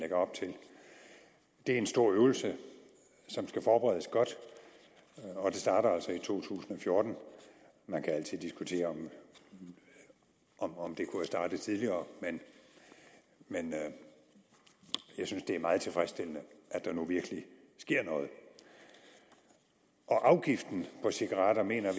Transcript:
det er en stor øvelse som skal forberedes godt og det starter altså i to tusind og fjorten man kan altid diskutere om om det kunne have startet tidligere men jeg synes det er meget tilfredsstillende at der nu virkelig sker noget afgiften på cigaretter mener